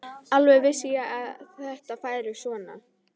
Alveg vissi ég að þetta færi svona!